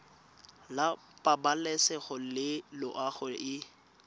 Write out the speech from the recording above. la pabalesego le loago e